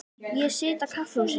Ég sit á kaffihúsi.